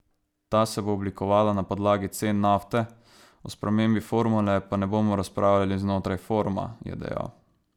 Ta se bo oblikovala na podlagi cen nafte, o spremembi formule pa ne bomo razpravljali znotraj foruma, je dejal.